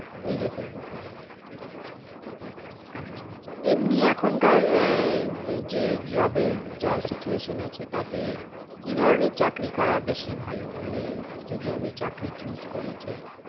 নিজেকেই নিতে হবে আচ্ছা এমনি এখনকার আহ যে job এর যা situation আছে তাতে কি ধরণের চাকরি করা বেশি ভালো মানে যদি আমি চাকরি choose করি যে